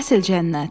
Əsl cənnət.